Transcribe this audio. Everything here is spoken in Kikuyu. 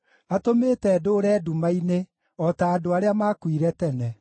Atũmĩte ndũũre nduma-inĩ o ta andũ arĩa maakuire tene.